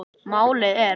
Málið er